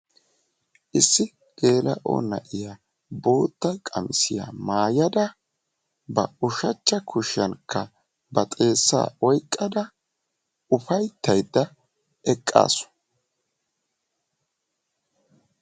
Issi geela'o naa'iyaa bootta qamisiyaa maayaada ba uushachcha kuushiyaankka ba xeessaa oyqada ufayttaydda eqaasu.